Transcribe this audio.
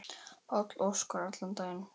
Páll Óskar allan daginn.